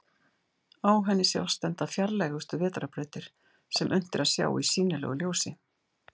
Á henni sjást enda fjarlægustu vetrarbrautir sem unnt er að sjá í sýnilegu ljósi.